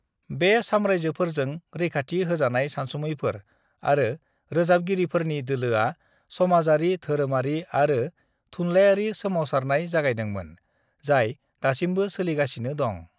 बे साम्रायजोफोरजों रैखाथि होजानाय सानसुमैफोर आरो रोजाबगिरिफोरनि दोलोआ समाजारि-धोरोमारि आरो थुनलायारि सोमावसारनाय जागायदोंमोन, जाय दासिमबो सोलिगासिनो दं।